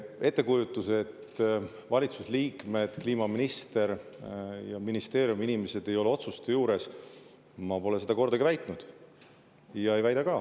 Ettekujutus, et valitsuse liikmed, sealhulgas kliimaminister, ja ministeeriumi inimesed ei ole otsuste juures – ma pole seda kordagi väitnud ja ei väida ka.